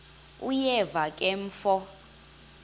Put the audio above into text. uyeva ke mfo